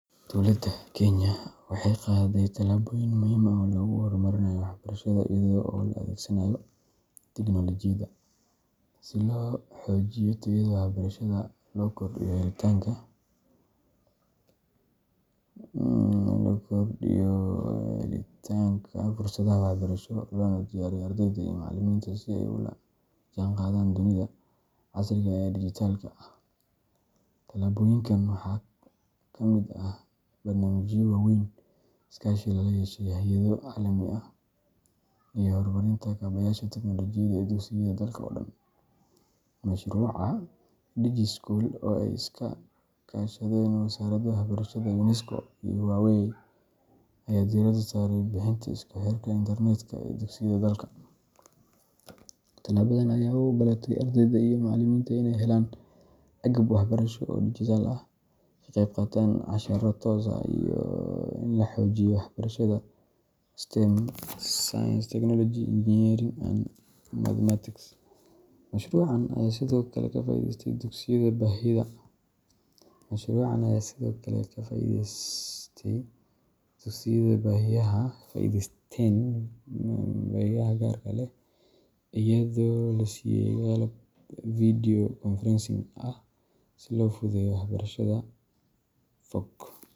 Dowladda Kenya waxay qaaday tallaabooyin muhiim ah oo lagu horumarinayo waxbarashada iyada oo la adeegsanayo tignoolajiyada, si loo xoojiyo tayada waxbarashada, loo kordhiyo helitaanka fursadaha waxbarasho, loona diyaariyo ardayda iyo macallimiinta si ay ula jaanqaadaan dunida casriga ah ee dijitaalka ah. Tallaabooyinkan waxaa ka mid ah barnaamijyo waaweyn, iskaashi lala yeeshay hay’ado caalami ah, iyo horumarinta kaabayaasha tignoolajiyada ee dugsiyada dalka oo dhan. Mashruuca DigiSchool, oo ay iska kaashadeen Wasaaradda Waxbarashada, UNESCO, iyo Huawei, ayaa diiradda saaray bixinta isku xirka internet-ka ee dugsiyada dalka. Tallaabadan ayaa u oggolaatay ardayda iyo macallimiinta inay helaan agab waxbarasho oo dijitaal ah, ka qayb qaataan casharro toos ah, iyo in la xoojiyo waxbarashada STEM Science, Technology, Engineering, and Mathematics. Mashruucan ayaa sidoo kale ka faa'iideysten dugsiyada baahiyaha gaarka ah leh, iyadoo la siiyay qalab video conferencing ah si loo fududeeyo waxbarashada fog .